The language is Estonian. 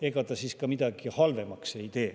Ega see siis midagi halvemaks ka ei tee.